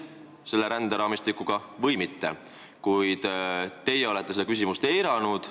Kuid teie olete seda küsimust eiranud.